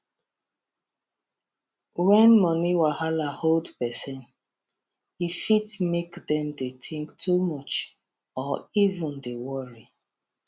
when money wahala hold person e fit make dem dey think too much or even dey worry